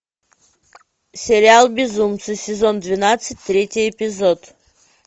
сериал безумцы сезон двенадцать третий эпизод